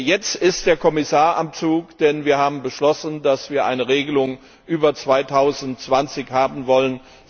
Jetzt ist der Kommissar am Zug, denn wir haben beschlossen, dass wir eine Regelung über 2020 hinaus haben wollen.